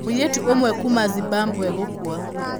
Mũirĩtu ũmwe kuuma Zimbabwe gũkua